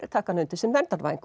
taka hana undir sinn verndarvæng